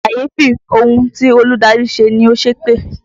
Kàyéfì ohun tí olùdarí ṣe ni, ó ṣépè